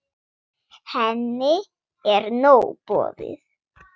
Henni er nóg boðið.